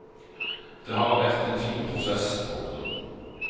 Det har vært en fin prosess. punktum